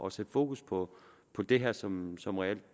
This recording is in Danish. at sætte fokus på på det her som som reelt